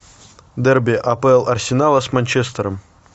дерби апл арсенала с манчестером